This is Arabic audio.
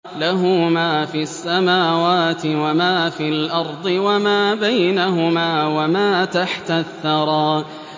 لَهُ مَا فِي السَّمَاوَاتِ وَمَا فِي الْأَرْضِ وَمَا بَيْنَهُمَا وَمَا تَحْتَ الثَّرَىٰ